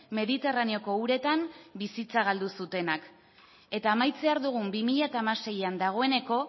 mediterraneoko uretan bizitza galdu zutenak eta amaitzear dugun bi mila hamaseian dagoeneko